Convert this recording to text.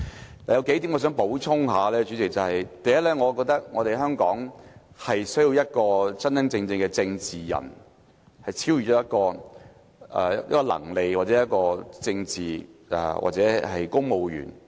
主席，我有數點想補充：第一，我覺得香港是需要一位真正的政治人，能超越一個能力或一個政治，或是公務員的層面。